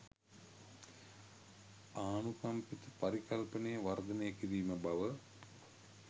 ආනුකම්පිත පරිකල්පනය වර්ධනය කිරීම බව